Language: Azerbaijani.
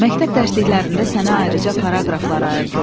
Məktəb dərsliklərində sənə ayrıca paraqraflar ayırdılar.